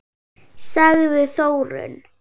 Sagði Þórunn!